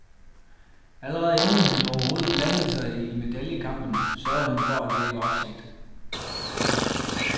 Allerede inden han overhovedet blandede sig i medaljekampen, sørgede han for at vække opsigt.